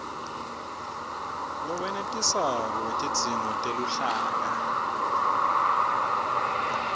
lowenetisako wetidzingo teluhlaka